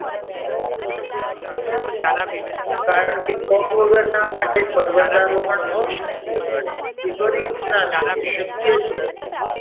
કારણ કે પગ વગરના માટે પર્વતારોહણ અશક્ય ગણે છે કે કરી જ ના શકે શક્ય જ નથી.